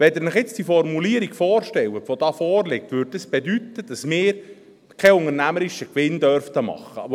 Wenn Sie sich jetzt die Formulierung, die hier vorliegt, vorstellen, würde dies bedeuten, dass wir keinen unternehmerischen Gewinn machen dürften.